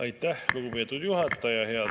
Aitäh, lugupeetud juhataja!